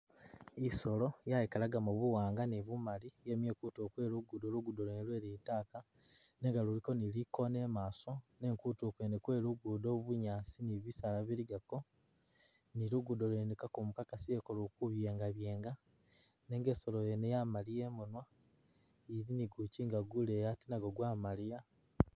Isolo yayikalagamo buwanga ni bumali, yemile kutulo kwe lugudo lugudo lwene lwe litaka nenga luliko ni likona imaso nenga kutulo kwene kwe lugudo bunyaasi ni bisaala biligako, ni lugudo lwene kakumu kakasileko lukubyengabyenga nenga isolo yene yamaliya imunwa ili ni gukyinga guleyi ate nagwo gwamaliya.